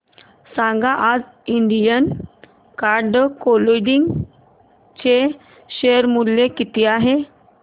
सांगा आज Indian card clothing चे शेअर मूल्य किती आहे